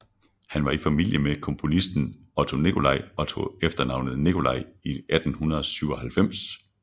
Han var i familie med komponisten Otto Nicolai og tog efternavnet Nicolai i 1897